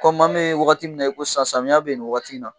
maa min ye an bɛ waati min na i ko sisan, samiyan bɛ yen ni waati in na.